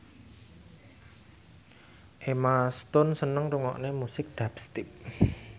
Emma Stone seneng ngrungokne musik dubstep